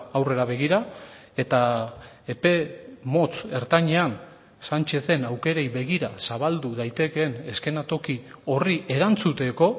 aurrera begira eta epe motz ertainean sánchezen aukerei begira zabaldu daitekeen eszenatoki horri erantzuteko